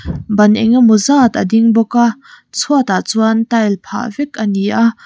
ban enge maw zat a ding bawk a chhuatah chuan tile phah vek a ni a.